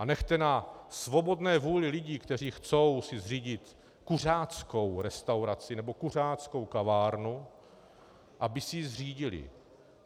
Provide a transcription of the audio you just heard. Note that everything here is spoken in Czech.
A nechte na svobodné vůli lidí, kteří si chtějí zřídit kuřáckou restauraci nebo kuřáckou kavárnu, aby si ji zřídili.